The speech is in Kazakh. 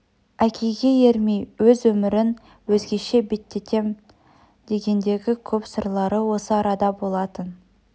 әкеге ермей өз өмірін өзгеше беттетем дегендегі көп сырлары осы арада болатын